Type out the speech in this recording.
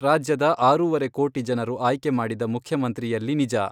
ರಾಜ್ಯದ ಆರೂವರೆ ಕೋಟಿ ಜನರು ಆಯ್ಕೆ ಮಾಡಿದ ಮುಖ್ಯಮಂತ್ರಿಯಲ್ಲಿ ನಿಜ.